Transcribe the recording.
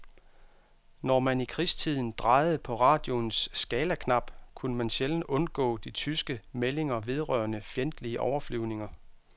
Når man i krigstiden drejede på radioens skalaknap, kunne man sjældent undgå de tyske meldinger vedrørende fjendtlige overflyvninger.